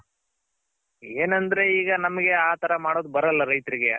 ಏನಂದ್ರೆ ಈಗ ನಮ್ಗೆ ಆ ತರ ಮಾಡಕ್ ಬರಲ್ಲ ರೈತ್ರ್ಗೆ.